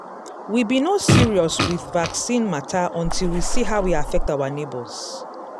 we be no serious with vaccine matter until we see how e affect our neighbors.